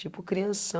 Tipo, crianção.